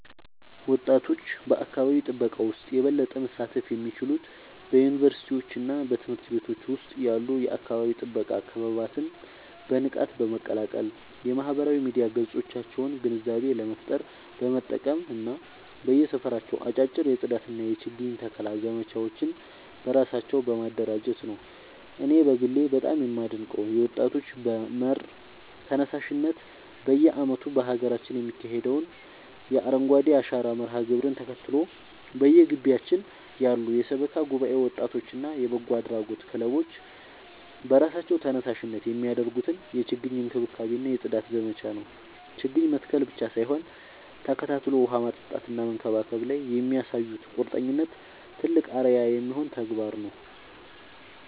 ወጣቶች በአካባቢ ጥበቃ ውስጥ የበለጠ መሳተፍ የሚችሉት በዩኒቨርሲቲዎችና በትምህርት ቤቶች ውስጥ ያሉ የአካባቢ ጥበቃ ክበባትን በንቃት በመቀላቀል፣ የማህበራዊ ሚዲያ ገጾቻቸውን ግንዛቤ ለመፍጠር በመጠቀም እና በየሰፈራቸው አጫጭር የጽዳትና የችግኝ ተከላ ዘመቻዎችን በራሳቸው በማደራጀት ነው። እኔ በግሌ በጣም የማደንቀው የወጣቶች መር ተነሳሽነት በየዓመቱ በሀገራችን የሚካሄደውን የአረንጓዴ አሻራ መርሃ ግብርን ተከትሎ፣ በየግቢያችን ያሉ የሰበካ ጉባኤ ወጣቶችና የበጎ አድራጎት ክለቦች በራሳቸው ተነሳሽነት የሚያደርጉትን የችግኝ እንክብካቤና የጽዳት ዘመቻ ነው። ችግኝ መትከል ብቻ ሳይሆን ተከታትሎ ውሃ ማጠጣትና መንከባከብ ላይ የሚያሳዩት ቁርጠኝነት ትልቅ አርአያ የሚሆን ተግባር ነው።